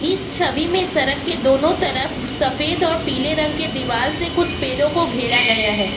इस छवि में सड़क के दोनों तरफ सफेद और पीले रंग के दीवाल से कुछ पेड़ों को घेरा गया है।